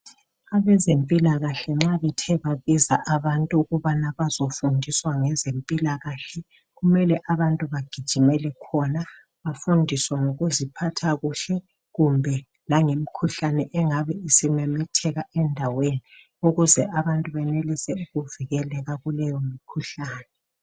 Abezempila kahle nxa bethe babiza abantuukubana bazofundiswa ngezempila kahle kumele abantu bagijimele khona bafundiswe ngokuziphatha kuhle kumbe langemikhuhlane engabe isimemetheka endaweni ukuze abantu benelisa ukuvikeleka kuleyo mikhuhlane